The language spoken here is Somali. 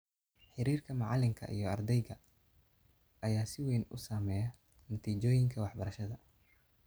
Xiriirka macalinka iyo ardayga ayaa si weyn u saameeya natiijooyinka waxbarashada.